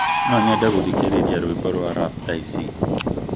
No nyende guthĩkĩrĩrĩa rwĩmbo rwa rap thaa icii